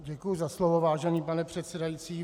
Děkuji za slovo, vážený pane předsedající.